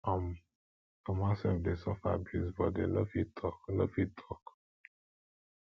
um some househelp de suffer abuse but dem no fit talk no fit talk